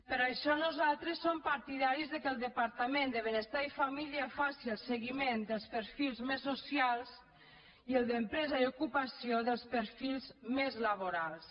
per això nosaltres som partidaris que el departament de benestar i família faci el seguiment dels perfils més socials i el d’empresa i ocupació dels perfils més laborals